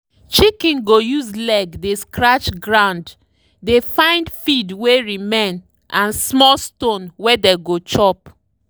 chicken go use leg dey scratch ground dey find feed wey remain and small stone wey dey go chop.